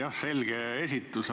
Jah, selge esitus.